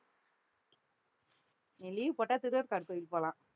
நீ leave போட்டா திருவேற்காடு கோயிலுக்கு போலாம்